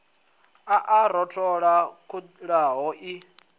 a a rothola khuḓano i